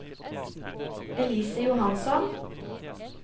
Elise Johansson